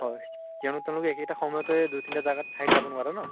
হয়, তেওঁলোক তেওঁলোক একেটা সময়তে দুই তিনটা জাগাত ঠাইত যাব নোৱাৰে ন